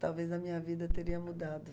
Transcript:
Talvez a minha vida teria mudado.